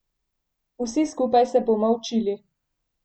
Vsi skupaj se bomo učili.